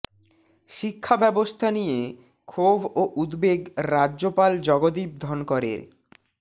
শিক্ষা ব্যবস্থা নিয়ে ক্ষোভ ও উদ্বেগ রাজ্যপাল জগদীপ ধনকরের